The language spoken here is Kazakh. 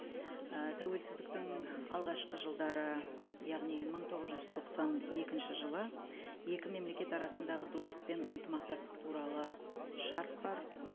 і тәуелсіздіктің алғашқы жылдары яғни мың тоғыз жүз тоқсан екінші жылы екі мемлекет арасындағы достық пен ынтымақтастық туралы шарт бар